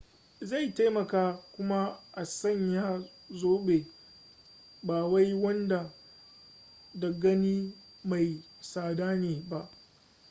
zai taimaka kuma a sanya zobe bawai wanda da gani mai tsada ne ba